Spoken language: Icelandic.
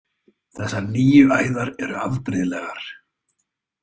Þessar nýju æðar eru afbrigðilegar.